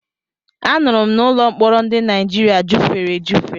Anụrụ m na ụlọ mkpọrọ ndị Naịjirịa jufere ejufe.